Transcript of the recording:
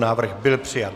Návrh byl přijat.